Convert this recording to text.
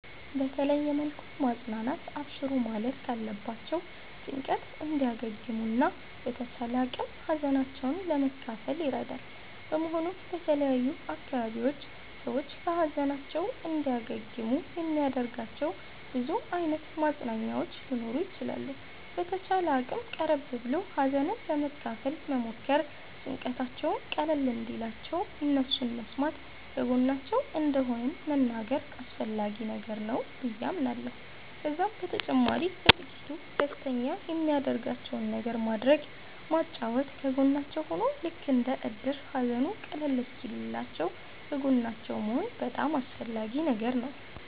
በተለየ መልኩ ማፅናናት አብሽሩ ማለት ካለባቸዉ ጭንቀት እንዲያገግሙ እና በተቻለ አቅም ሀዘናቸዉን ለመካፈል ይረዳል በመሆኑም በተለያዩ አካባቢዎች ሰዎች ከ ሀዘናቸዉ እንዲያገግሙ የሚያደርጋቸዉ ብዙ አይነት ማፅናኛዎች ሊኖሩ ይችላሉ። በተቻለ አቅም ቀረብ ብሎ ሀዘንን ለመካፈል መሞከር ጭንቀታቸዉም ቀለል እንዲልላቸዉ እነሱን መስማተ ከጎናቸዉ እንደሆንን መንገር አስፈላጊ ነገር ነዉ በዬ አምናለሁ። ከዛም በተጨማሪ በጥቂቱ ደስተኛ የሚያደርጋቸዉን ነገር ማድረግ ማጫወት ከጎናቸዉ ሁኖ ልክ እንደ እድር ሃዘኑ ቀለል እሰወኪልላችዉ ከጎናቸዉ መሆን በጣም አስፈላጊ ነገር ነዉ